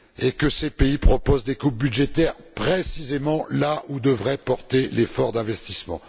que ces pays proposent des coupes budgétaires, précisément là où devrait porter l'effort d'investissement.